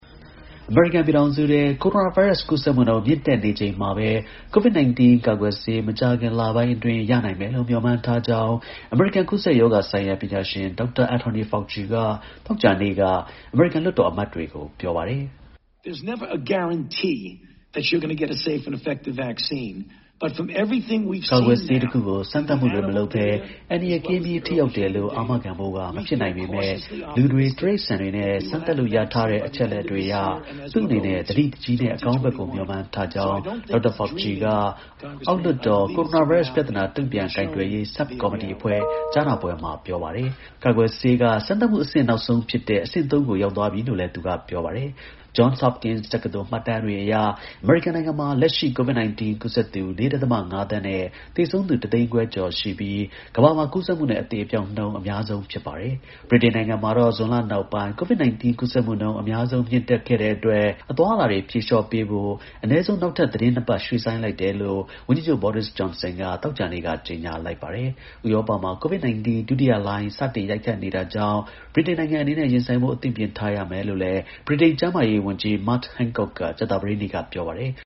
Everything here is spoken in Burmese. အမေရိကန်ပြည်ထောင်စုထဲ ကိုရိုနာဗိုင်းရပ်စ်ကူးစက်မှုနှုန်း မြင့်တက်နေတဲ့ အချိန်မှာပဲ COVID-19 ကာကွယ်ဆေး မကြာခင်လပိုင်း အတွင်း ရနိုင်မယ်လို့ မျှော်မှန်းထားကြောင်း အမေရိကန် ကူးစက်ရောဂါဆိုင်ရာ ပညာရှင် Dr. Anthony Fauci က သောကြာနေ့က အမေရိကန် လွှတ်တော်အမတ်တွေကို ပြောပါတယ်။ “ကာကွယ်ဆေးတခုကို စမ်းသပ်မှုတွေမလုပ်ပဲ အန္တရာယ်ကင်းပြီး ထိရောက်တယ်လို့ အာမခံဖို့က မဖြစ်နိုင်ပေမဲ့ လူတွေ၊ တိရစ္ဆာန်တွေနဲ့ စမ်းသပ်လို့ ရရှိထားတဲ့ အချက်အလက်တွေအရ သူ့အနေနဲ့ သတိတကြီးနဲ့ အကောင်းဘက်ကို မျှော်မှန်းထားကြောင်း” Dr. Fauci က အောက်လွှတ်တော် ကိုရိုနာဗိုင်းရပ် ပြဿနာ တုန့်ပြန်ကိုင်တွယ်ရေး ဆပ်ကော်မတီအဖွဲ့ ကြားနာပွဲ မှာ ပြောပါတယ်။ ကာကွယ်ဆေးက စမ်းသပ်မှု နောက်ဆုံးအဆင့်ဖြစ်တဲ့ အဆင့် ၃ ကို ရောက်သွားပြီလို့လည်း သူကပြောပါတယ်။ Johns Hopkins တက္ကသိုလ် မှတ်တမ်းတွေအရ အမေရိကန်နိုင်ငံမှာ လက်ရှိ COVID-19 ကူးစက်သူ ၄.၅ သန်းနဲ့ သေဆုံးသူ တသိန်းခွဲ ကျော်ရှိပြီး ကမ္ဘာမှာ ကူးစက်မှုနဲ့ အသေ အပျောက် နှုန်း အများဆုံးဖြစ်ပါတယ်။ ဗြိတိန်နိုင်ငံမှာတော့ ဇွန်လနောက်ပိုင်း COVID-19 ကူးစက်မှုနှုန်း အများဆုံး မြင့်တက်ခဲ့အတွက် အသွားအလာတွေဖြေလျှော့ပေးဖို့ အနည်းဆုံး နောက်ထပ် သီတင်း ၂ ပတ်ရွှေ့ဆိုင်းလိုက်တယ်လို့ ဝန်ကြီးချုပ် Boris Johnson က သောကြာနေ့က ကြေညာလိုက်ပါတယ်။ ဥရောပမှာ COVID-19 ဒုတိယလှိုင်း စတင်ရိုက်ခတ်နေတာကြောင့် နဲ့ ဗြိတိန်နိုင်ငံအနေနဲ့ ရင်ဆိုင်ဖို့ အသင့်ပြင်ထားရမယ်လို့ ဗြိတိန် ကျန်းမာရေးနဲ့ လူမှုဖူလုံရေး စောင့်ရှောက်မှု ဌာန ဝန်ကြီး Matt Hancock က ကြာသပတေးနေ့ ပြောပါတယ်။